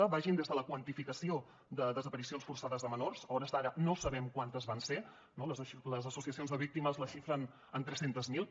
que vagin des de la quantificació de desaparicions forçades de menors a hores d’ara no sabem quantes van ser no les associacions de víctimes les xifren en tres cents miler